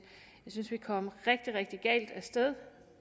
synes vi kom rigtig rigtig galt